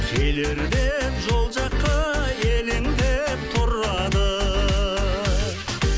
келер деп жол жаққа елеңдеп тұрады